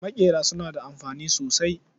Maƙera suna da amfani sosai.